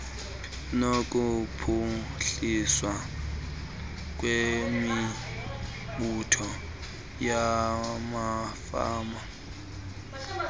nokuphuhliswa kwemibutho yamafama